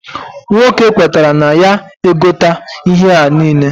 Nwoke kwetara na ya egote ihe a niile.